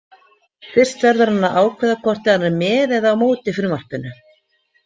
Fyrst verður hann að ákveða hvort hann er með eða á móti frumvarpinu.